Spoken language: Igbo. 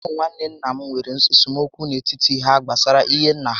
Ụmụ nwanne nna m nwèrè esemokwu n'etiti há gbásárá ihe nnà ha